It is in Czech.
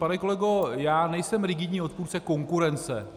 Pane kolego, já nejsem rigidní odpůrce konkurence.